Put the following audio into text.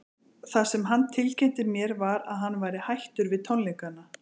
Það sem hann tilkynnti mér var að hann væri hættur við tónleikana.